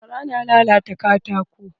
Gara na lalata katako.